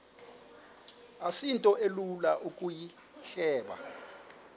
asinto ilula ukuyihleba